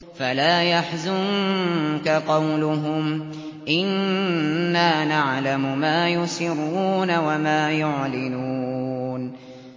فَلَا يَحْزُنكَ قَوْلُهُمْ ۘ إِنَّا نَعْلَمُ مَا يُسِرُّونَ وَمَا يُعْلِنُونَ